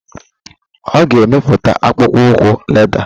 Ọ ga emepụta akpụkpọ ụkwụ lédà.